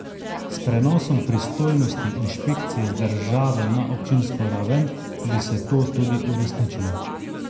S prenosom pristojnosti inšpekcije z državne na občinsko raven bi se to tudi uresničilo.